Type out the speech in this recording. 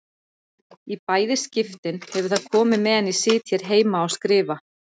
Í bæði skiptin hefur það komið meðan ég sit hér heima og skrifa.